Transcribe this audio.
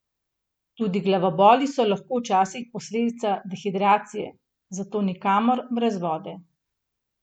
Tudi glavoboli so lahko včasih posledica dehidracije, zato nikamor brez vode.